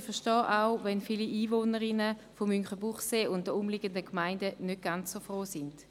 Ich verstehe auch, wenn viele Einwohnerinnen und Einwohner von Münchenbuchsee und den umliegenden Gemeinden nicht ganz so froh sind.